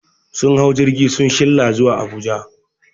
Sun hau jirgi sun shilla zuwa Abuja